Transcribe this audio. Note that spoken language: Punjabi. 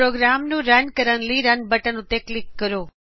ਪ੍ਰੋਗਰਾਮ ਨੂੰ ਰਨ ਕਰਨ ਲਈ Runਬਟਨ ਉੱਤੇ ਕਲਿਕ ਕਰੋਂ